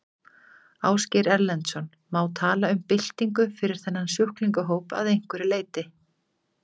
Ásgeir Erlendsson: Má tala um byltingu fyrir þennan sjúklingahóp að einhverju leyti?